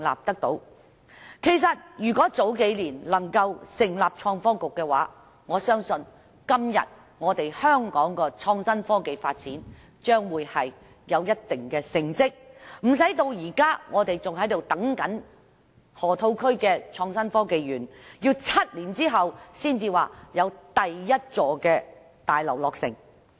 其實如果能夠早數年成立創新及科技局，我相信今天香港的創新科技發展已有一定的成績，不會至今仍在等待河套區的創新及科技園，要待7年後，第一座大樓才會落成。